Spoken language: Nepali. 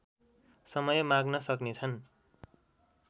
समय माग्न सक्नेछन्